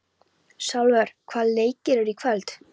Salvör, hvaða leikir eru í kvöld?